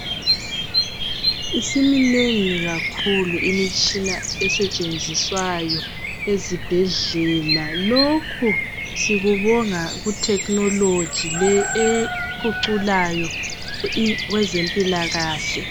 Isiminengi kakhulu imitshina esetshenziswayo ezibhedlela lokhu sikubonga kutechnology le ephuculayo i kwezempilakahle.